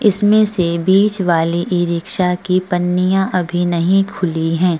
इसमें से बीच वाली ई-रिक्शा की पन्नियां अभी नहीं खुली हैं।